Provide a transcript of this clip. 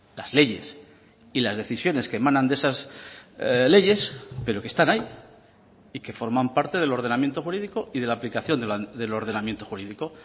las leyes y las decisiones que emanan de esas leyes pero que están ahí y que forman parte del ordenamiento jurídico y de la aplicación del ordenamiento jurídico